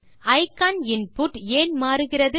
icon input ஏன் மாறுகிறது